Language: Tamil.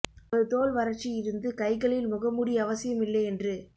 ஒரு தோல் வறட்சி இருந்து கைகளில் முகமூடி அவசியம் இல்லை என்று